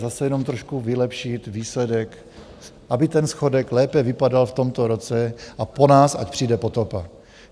Zase jenom trošku vylepšit výsledek, aby ten schodek lépe vypadal v tomto roce a po nás ať přijde potopa.